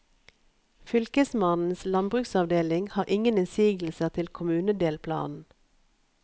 Fylkesmannens landbruksavdeling har ingen innsigelser til kommunedelplanen.